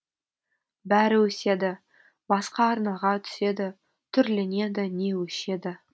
бәрі өседі басқа арнаға түседі түрленеді не өшеді